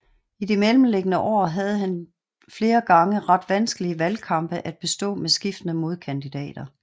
I de mellemliggende år havde han flere gange ret vanskelige valgkampe at bestå med skiftende modkandidater